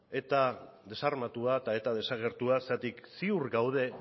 eta desarmatua eta eta desagertua zergatik ziur gaude